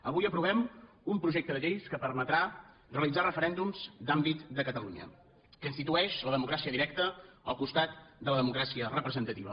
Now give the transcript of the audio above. avui aprovem un projecte de llei que permetrà realitzar referèndums d’àmbit de catalunya que institueix la democràcia directa al costat de la democràcia representativa